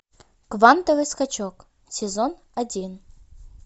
квантовый скачок сезон один